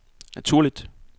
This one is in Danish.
naturligt